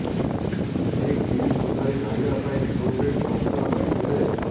ଏହି ଟିମ ସୁନ୍ଦରୀ ଧରିବା ପାଇଁ ବ୍ଲୁ ପ୍ରିଣ୍ଟ ପ୍ରସ୍ତୁତ କରିଥିଲେ